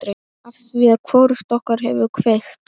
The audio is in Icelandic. Afþvíað hvorugt okkar hefur kveikt.